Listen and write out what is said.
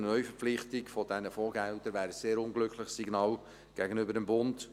Eine Neuverpflichtung dieser Fondsgelder wäre ein sehr ungünstiges Signal gegenüber dem Bund.